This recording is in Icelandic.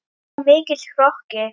Of mikill hroki.